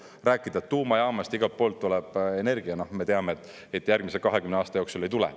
Rääkida tuumajaamast ja et igalt poolt tuleb energia – no me teame, et järgmise 20 aasta jooksul ei tule.